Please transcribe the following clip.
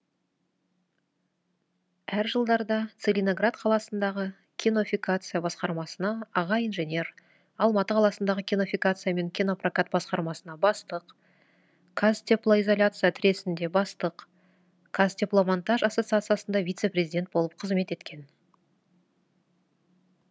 әр жылдарда целиноград қаласындағы кинофикация басқармасына аға инженер алматы қаласындағы кинофикация мен кинопрокат басқармасына бастық қазтеплоизоляция тресінде бастық қазтепломонтаж ассоциациясында вице президент болып қызмет еткен